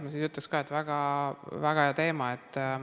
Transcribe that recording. Ütleks jälle, et väga-väga hea teema.